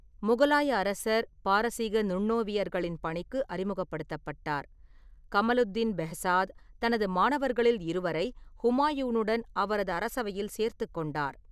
முகலாய அரசர் பாரசீக நுண்ணோவியர்களின் பணிக்கு அறிமுகப்படுத்தப்பட்டார். கமளுக்தீன் பெஹ்சாத் தனது மாணவர்களில் இருவரை ஹுமாயூனுடன் அவரது அரசவையில் சேர்த்துக் கொண்டார்.